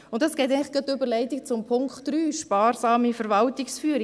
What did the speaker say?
Dies ergibt eigentlich die Überleitung zum Punkt 3, sparsame Verwaltungsführung.